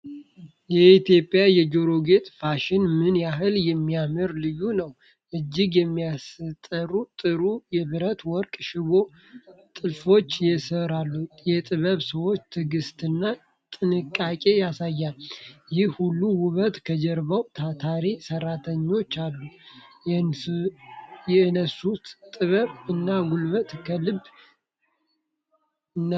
የኢትዮጵያ የጆሮ ጌጥ ፋሽን ምን ያህል የሚያምርና ልዩ ነው! በእጅ የሚሠሩት ጥሩ የብርና የወርቅ ሽቦ ጥልፍልፎች የሠሩትን የጥበብ ሰዎች ትዕግስትና ጥንቃቄ ያሳያል። ይህ ሁሉ ውበት ከጀርባው ታታሪ ሠራተኞች አሉ። የእነሱን ጥበብ እና ጉልበት ከልብ እናደንቃለን!